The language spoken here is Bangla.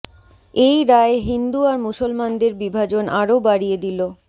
এই রায় হিন্দু আর মুসলমানদের বিভাজন আরো বারিয়ে দিলো